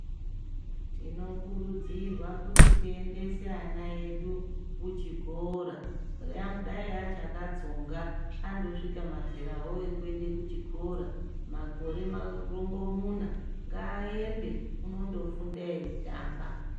Tinokurudzirwa kuti tiendese vana vedu kuchikora nyangwe dayi vachakatsonga andosvika mazerawo ekuende kuchikora makore marongomuna, ngaaende unondofunda eitamba.